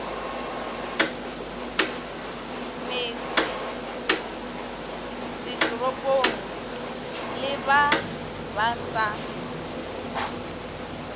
metsesetoropong le ba ba sa